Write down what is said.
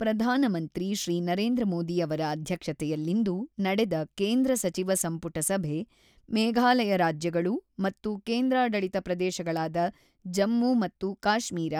ಪ್ರಧಾನಮಂತ್ರಿ ಶ್ರೀ ನರೇಂದ್ರ ಮೋದಿ ಅವರ ಅಧ್ಯಕ್ಷತೆಯಲ್ಲಿಂದು ನಡೆದ ಕೇಂದ್ರ ಸಚಿವ ಸಂಪುಟ ಸಭೆ, ಮೇಘಾಲಯ ರಾಜ್ಯಗಳು ಮತ್ತು ಕೇಂದ್ರಾಡಳಿತ ಪ್ರದೇಶಗಳಾದ ಜಮ್ಮು ಮತ್ತು ಕಾಶ್ಮೀರ